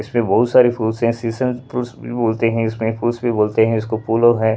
इसमें बहुत सारे फ्रूट्स है सीसन फ्रूट्स भी बोलते हैं इसमें फ्रूट्स भी बोलते हैं इसको फूलो हैं।